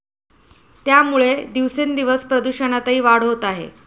त्यामुळे दिवसेंदिवस प्रदूषणातही वाढ होत आहे.